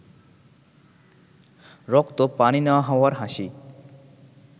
রক্ত পানি না হওয়ার হাসি